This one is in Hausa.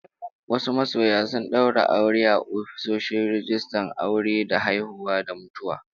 Wasu masoya sun daura aure a ofishin rijistan aure da haihuwa da mutuwa